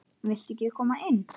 Viltu ekki koma inn?